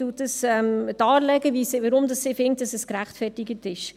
Sie legt dar, weshalb dies gerechtfertigt ist.